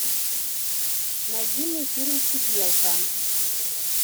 найди мне фильм сиделка